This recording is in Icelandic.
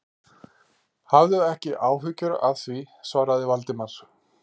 Hafðu ekki áhyggjur af því- svaraði Valdimar.